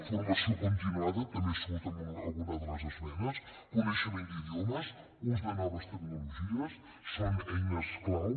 formació continuada també surt en alguna de les esmenes coneixement d’idiomes ús de noves tecnologies són eines clau